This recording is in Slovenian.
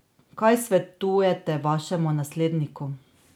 Kaj svetujete vašemu nasledniku?